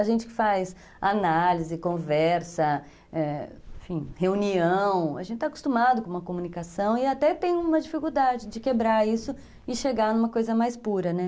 A gente que faz análise, conversa, é, enfim, reunião, a gente está acostumado com uma comunicação e até tem uma dificuldade de quebrar isso e chegar numa coisa mais pura, né?